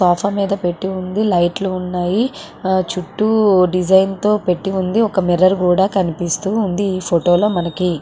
Sofa మీద పెట్టి ఉంది లైట్లు లు కూడా ఉన్నాయి ఆహ్ చుట్టూ డిజైన్ తో పెట్టి ఉంది .ఒక మిర్రర్ కూడా కనిపిస్తుంది ఈ ఫోటో లో మనకి.